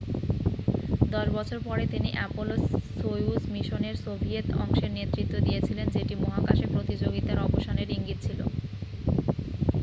দশ বছর পরে তিনি অ্যাপোলো-সোয়ুজ মিশনের সোভিয়েত অংশের নেতৃত্ব দিয়েছিলেন যেটি মহাকাশে প্রতিযোগিতার অবসানের ইঙ্গিত ছিল